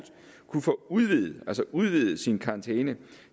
kunne få udvidet udvidet sin karantæne